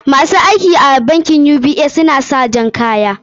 Ma su aiki a bankin UBA suna sa kaya ja.